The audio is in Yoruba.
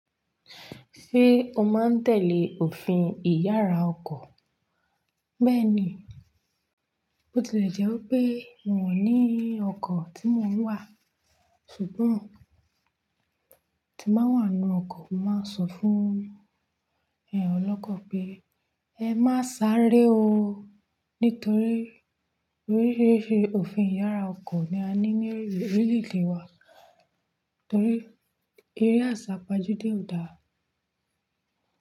Ṣé o máa ń tẹ̀lé òfin ìyára ọkọ̀? Bẹ́ẹ̀ni, bó tilẹ̀ jẹ́ wipé mi o ní ọkọ̀ tí mò ń wà, ṣùgbọ́n tí màá wà nínú ọkọ̀, màá sọ fún ẹ olọ́kọ̀ pé ẹ má sáré o, nítorí orírére òfin ìyára ọkọ̀ ni a ní ní orílè-èdè wa, torí eré àsápajúdé ò dáa.